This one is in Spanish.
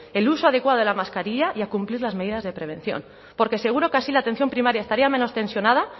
el uso adecuado de la mascarilla y a cumplir las medidas de prevención porque seguro que así la atención primaria estaría menos tensionada